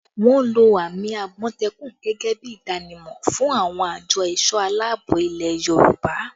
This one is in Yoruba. Wọ́n lo àmì àmọ̀tẹ́kùn gẹ́gẹ́ bí ìdánimọ̀ fún àwọn àjọ ẹ̀sọ̀ aláàbò ilẹ̀ Yorùbá